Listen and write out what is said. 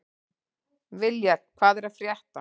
Viljar, hvað er að frétta?